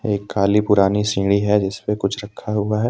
एक काली पुरान सीढ़ी है जिसपे कुछ रखा हुआ है।